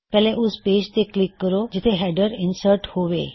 ਪਹਿਲੇ ਉਸ ਪੇਜ ਤੇ ਕਲਿੱਕ ਕਰੋ ਜਿੱਥੇ ਹੈੱਡਰ ਇਨਸਰਟ ਹੋਵੋ